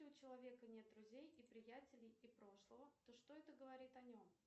у человека нет друзей и приятелей и прошлого то что это говорит о нем